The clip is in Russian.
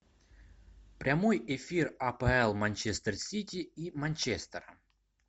прямой эфир апл манчестер сити и манчестера